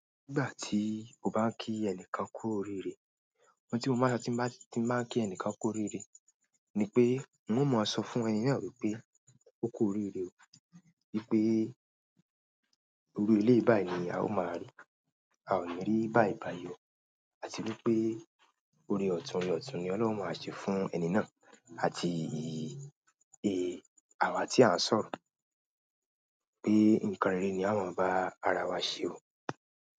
Nígbà tí o bá ń kí ẹnikan kú oríire, ohun tí mo máa ń sọ ti n bá nki ẹnìkan kú orire nípé un o mo sọ fún ẹni náà wípé oku orire oo, wípé irú eléyìí báyi ni a ó máa rí, a ò ní rí bàìbàì o, àti wípé ọ̀rẹ́ ọ̀tún lọ̀tún ni Ọlọ́run ó máa ṣe fún ẹni náà àti àwa tí à ń sọ̀rọ̀ pé ǹkan rere ni ao máa bá ara wa ṣe o.